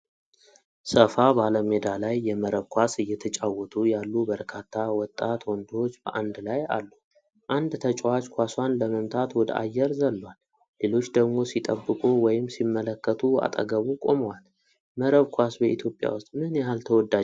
ሰፋ ባለ ሜዳ ላይ የመረብ ኳስ እየተጫወቱ ያሉ በርካታ ወጣት ወንዶች በአንድ ላይ አሉ። አንድ ተጫዋች ኳሷን ለመምታት ወደ አየር ዘሏል፤ ሌሎች ደግሞ ሲጠብቁ ወይም ሲመለከቱ አጠገቡ ቆመዋል። መረብ ኳስ በኢትዮጵያ ውስጥ ምን ያህል ተወዳጅነት አለው?